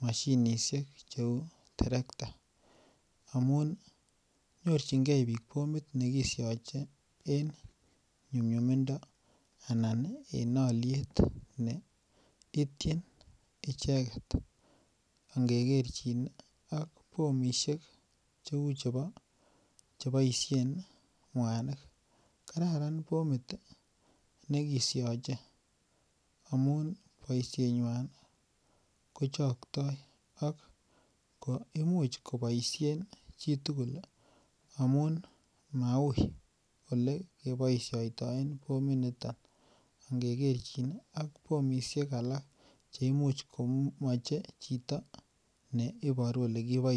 mashinisiek cheuu terek ta amun nyorchinige bik bomit nekisiache en nyumnyumindo anan en aliet neityin icheket angekerchin ak bomit cheuu chebaisien mwanik kararan bomit nekisiache amuun boisiet nyuan kochaktai ak imuch kobaishien chitugul ih amuun mauui elekebaisiatoi bomit noton ingekerchin ak bomisiek alak cheimuche komache chito cheiboru olekiboishaitoi.